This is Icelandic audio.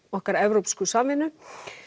okkar evrópsku samvinnu